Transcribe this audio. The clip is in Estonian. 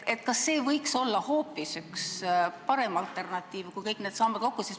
Kas see võiks olla parem alternatiiv kui kõik need sambad kokku?